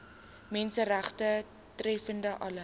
menseregte betreffende alle